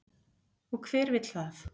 Og hver vill það?